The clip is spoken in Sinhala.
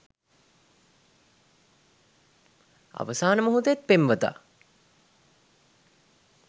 අවසාන මොහොතෙත් පෙම්වතා